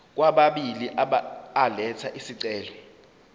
kwababili elatha isicelo